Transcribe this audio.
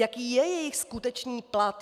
Jaký je jejich skutečný plat?